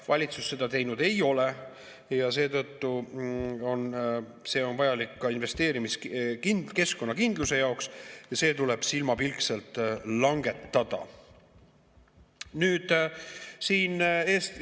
Valitsus seda teinud ei ole, aga see on vajalik ka investeerimiskeskkonna kindluse jaoks ja see tuleb silmapilkselt langetada.